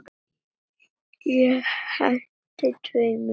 Ég henti tveimur spöðum.